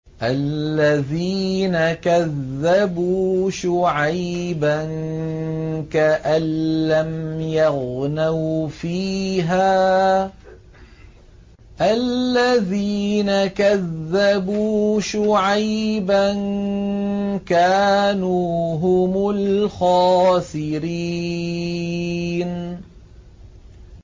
الَّذِينَ كَذَّبُوا شُعَيْبًا كَأَن لَّمْ يَغْنَوْا فِيهَا ۚ الَّذِينَ كَذَّبُوا شُعَيْبًا كَانُوا هُمُ الْخَاسِرِينَ